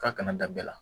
F'a kana da bɛɛ la